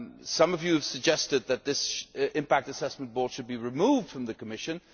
Some of you have suggested that this Impact Assessment Board should be removed from the Commission.